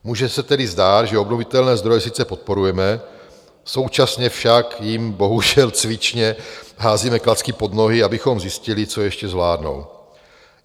Může se tedy zdát, že obnovitelné zdroje sice podporujeme, současně však jim bohužel cvičně házíme klacky pod nohy, abychom zjistili, co ještě zvládnou.